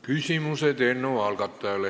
Küsimused eelnõu algatajale.